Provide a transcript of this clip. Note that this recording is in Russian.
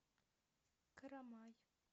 карамай